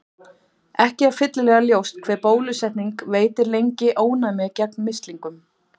Ekki er fyllilega ljóst hve bólusetning veitir lengi ónæmi gegn mislingum.